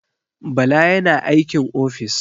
Bala yana aikin ofis.